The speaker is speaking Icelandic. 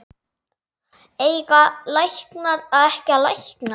Eiga læknar ekki að lækna?